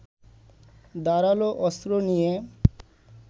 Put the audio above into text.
ধারালো অস্ত্র নিয়ে